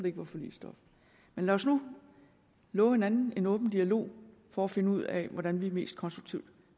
ikke er forligsstof men lad os nu love hinanden en åben dialog for at finde ud af hvordan vi mest konstruktivt